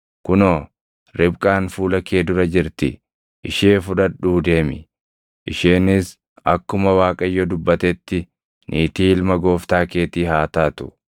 Kunoo, Ribqaan fuula kee dura jirti; ishee fudhadhuu deemi; isheenis akkuma Waaqayyo dubbatetti niitii ilma gooftaa keetii haa taatu.”